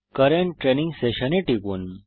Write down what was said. current training session এ টিপুন